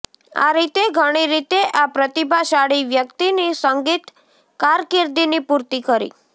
આ રીતે ઘણી રીતે આ પ્રતિભાશાળી વ્યક્તિની સંગીત કારકિર્દીની પૂર્તિ કરી